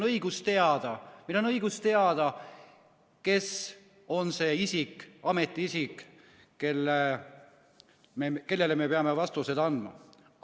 Ja meil on õigus teada, kes on see ametiisik, kellele me peame vastuseid andma.